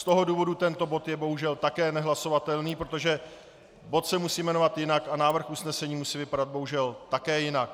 Z toho důvodu tento bod je bohužel také nehlasovatelný, protože bod se musí jmenovat jinak a návrh usnesení musí vypadat bohužel také jinak.